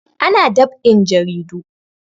Ana dab'in jaridu